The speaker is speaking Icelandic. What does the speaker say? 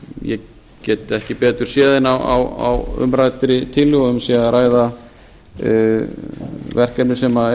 get ekki betur séð en á umræddri tilhögun sé að ræða verkefni sem